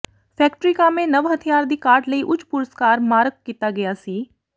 factory ਕਾਮੇ ਨਵ ਹਥਿਆਰ ਦੀ ਕਾਢ ਲਈ ਉੱਚ ਪੁਰਸਕਾਰ ਮਾਰਕ ਕੀਤਾ ਗਿਆ ਸੀ